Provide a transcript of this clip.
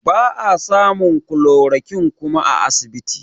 Ba a samun chloroquine kuma a asibiti